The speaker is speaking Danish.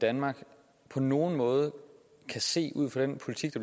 danmark på nogen måde kan se ud fra den politik